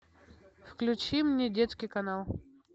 включи мне детский канал